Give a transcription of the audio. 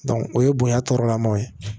o ye bonya tɔɔrɔlamaw ye